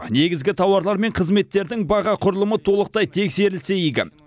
негізгі тауарлар мен қызметтердің баға құрылымы толықтай тексерілсе игі